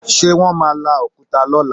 Ṣe wọ́n máa la òkúta lọ́la?